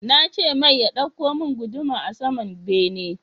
Nace mai ya ɗauko mun guduma a saman bene